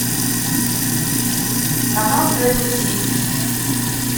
канал тлси